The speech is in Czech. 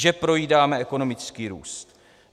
Že projídáme ekonomický růst.